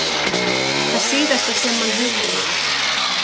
Það síðasta sem hann heyrði var.